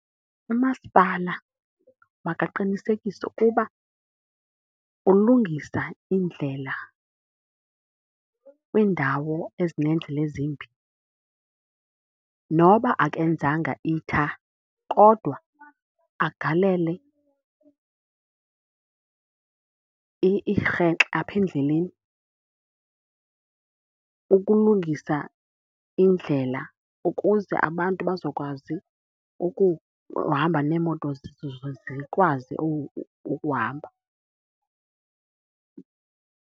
Umasipala makaqinisekise ukuba ulungisa iindlela kwiindawo ezineendlela ezimbi. Noba akenzanga itha kodwa agalele irhexe apha endleleni ukulungisa indlela ukuze abantu bazokwazi ukuhamba neemoto zikwazi ukuhamba.